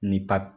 Ni papiye